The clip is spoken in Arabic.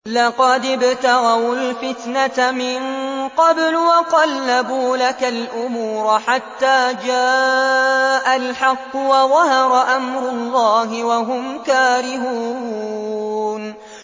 لَقَدِ ابْتَغَوُا الْفِتْنَةَ مِن قَبْلُ وَقَلَّبُوا لَكَ الْأُمُورَ حَتَّىٰ جَاءَ الْحَقُّ وَظَهَرَ أَمْرُ اللَّهِ وَهُمْ كَارِهُونَ